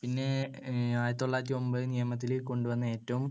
പിന്നെ ആയിരത്തിതൊള്ളായിരത്തിയൊൻപത് നിയമത്തിൽ കൊണ്ടുവന്ന ഏറ്റവും